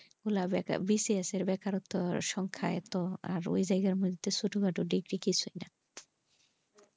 খুলে জায়গা বেশি আছে বেকারত্বের সংখ্যা এত ওই জায়গার মধ্যে ছোটোখাটো degree কিছুইনা।